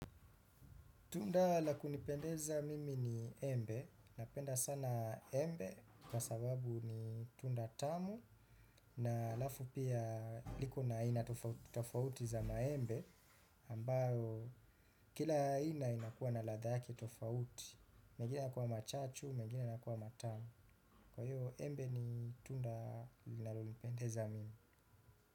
Tunda la kunipendeza mimi ni embe. Napenda sana embe kwa sababu ni tunda tamu na alafu pia liko na aina tofauti tofauti za maembe ambayo kila aina inakuwa na ladha yake tofauti. Megine yakuwa machachu, mengine yanakuwa matamu. Kwa hivo embe ni tunda linalonipendeza mimi.